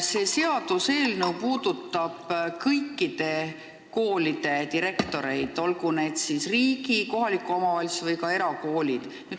See seaduseelnõu puudutab kõikide koolide direktoreid, olgu need riigi, kohaliku omavalitsuse või ka erakoolid.